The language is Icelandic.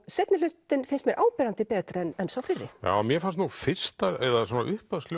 seinni hlutinn finnst mér áberandi betri en sá fyrri mér fannst nú